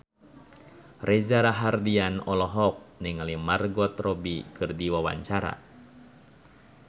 Reza Rahardian olohok ningali Margot Robbie keur diwawancara